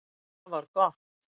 Sem er afar gott